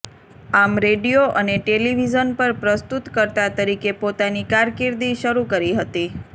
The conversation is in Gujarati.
આમ રેડિયો અને ટેલિવિઝન પર પ્રસ્તુતકર્તા તરીકે પોતાની કારકિર્દી શરૂ કરી હતી